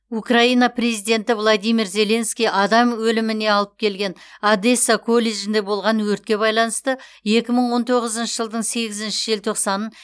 украина президенті владимир зеленский адам өліміне алып келген одесса колледжінде болған өртке байланысты екі мың он тоғызыншы жылдың сегізінші желтоқсанын